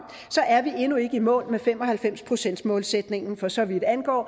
er vi endnu ikke i mål med fem og halvfems procentsmålsætningen for så vidt angår